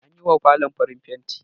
An yi wa falon farin fenti ne